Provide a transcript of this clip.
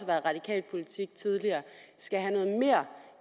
været radikal politik tidligere skal have noget mere